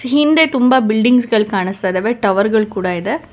ಹಿಂದೆ ತುಂಬಾ ಬಿಲ್ಡಿಂಗ್ಸ್ ಗಲ್ ಕಾಣಿಸ್ತ ಇದವೆ ಟವರ್ ಗಲ್ ಕೊಡ ಇದೆ.